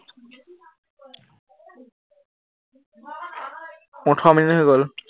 ওঠৰ মিনিট হৈ গল।